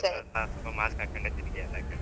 ಸ್ವಲ್ಪ mask ಹಾಕ್ಕಂಡೇ ತಿರ್ಗಿ ಎಲ್ಲ ಕಡೆ.